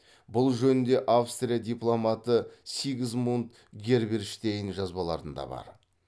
бұл жөнінде австрия дипломаты сигизмунд герберштейн жазбаларында бар